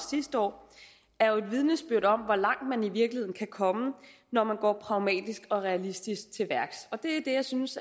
sidste år er et vidnesbyrd om hvor langt man i virkeligheden kan komme når man går pragmatisk og realistisk til værks og det er det jeg synes